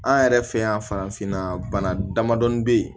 An yɛrɛ fɛ yan farafinna bana damadɔnin bɛ yen